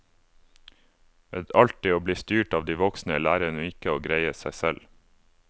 Ved alltid å bli styrt av de voksne, lærer hun ikke å greie seg selv.